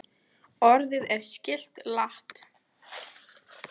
Orðið er skylt lat.